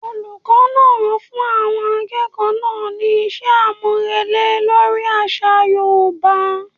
Olùkó náà fún àwọn akẹ́kọ̀ọ́ náà ní iṣẹ́ àmúrelé lórí àṣà yoòbá